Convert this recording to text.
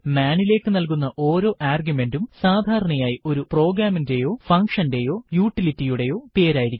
മാൻ നിലേക്ക് നൽകുന്ന ഓരോ ആർഗ്യുമെന്റും സാധാരണയായി ഒരു പ്രോഗ്രാമിന്റെയോ ഫന്ഗ്ഷന്റെയോ യൂട്ടിലിറ്റിയുടെയോ പേരായിരിക്കും